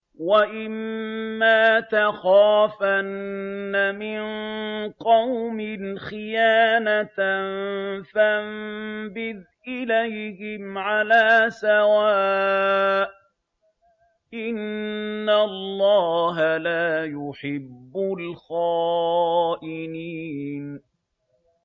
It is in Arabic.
وَإِمَّا تَخَافَنَّ مِن قَوْمٍ خِيَانَةً فَانبِذْ إِلَيْهِمْ عَلَىٰ سَوَاءٍ ۚ إِنَّ اللَّهَ لَا يُحِبُّ الْخَائِنِينَ